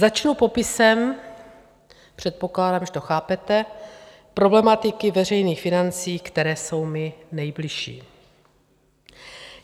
Začnu popisem - předpokládám, že to chápete - problematiky veřejných financí, které jsou mi nejbližší.